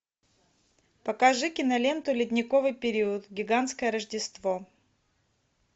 покажи киноленту ледниковый период гигантское рождество